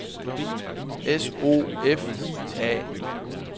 S O F I A